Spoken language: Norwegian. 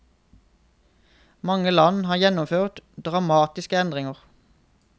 Mange land har gjennomført dramatiske endringer.